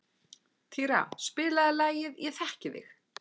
Týra, spilaðu lagið „Ég þekki þig“.